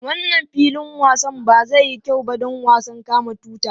Wannan filin wasan ba zai yi kyau ba don wasan kama tuta.